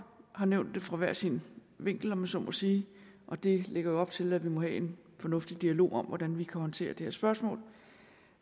har nævnt det fra hver sin vinkel om jeg så må sige og det lægger jo op til at vi må have en fornuftig dialog om hvordan vi kan håndtere det her spørgsmål